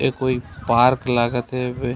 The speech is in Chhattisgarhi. ये कोई पार्क लागत हे बे--